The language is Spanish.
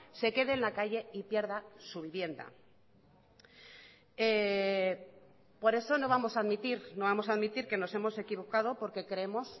se quede en la calle y pierda su vivienda por eso no vamos a admitir no vamos a admitir que nos hemos equivocado porque creemos